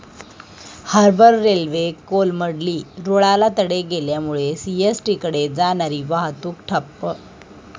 harbour railway कोलमडली, रुळाला तडे गेल्यामुळे सीएसटीकडे जाणारी वाहतूक ठप्प